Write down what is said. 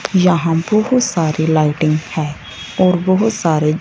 यहां बहुत सारी लाइटिंग है और बहुत सारे--